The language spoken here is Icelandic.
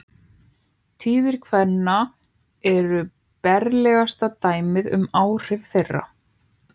Tíðir kvenna eru berlegasta dæmið um áhrif þeirra.